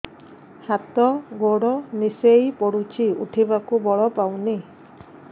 ହାତ ଗୋଡ ନିସେଇ ପଡୁଛି ଉଠିବାକୁ ବଳ ପାଉନି